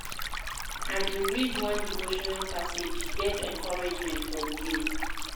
I bin read one devotional passage, get encouragement for di day.